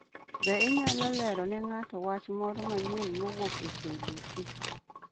Be inyalo lero ne ng'ato wach moro manyien mowuok e k.b.c.?